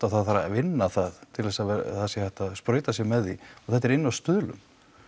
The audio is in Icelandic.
og það þarf að vinna það til þess að hægt sé að sprauta sig með því og þetta er inni á Stuðlum